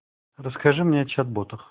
расскажи мне о чат-ботах